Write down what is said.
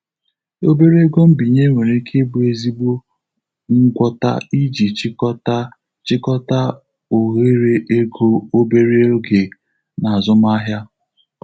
Obere ego mbinye nwere ike ịbụ ezigbo ngwọta iji chịkọta chịkọta òhèrè ego obere oge na azụmahịa.